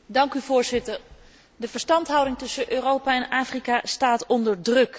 Voorzitter, de verstandhouding tussen Europa en Afrika staat onder druk.